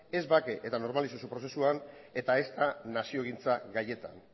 ez bake eta normalizazio prozesuan eta ezta naziogintza gaietan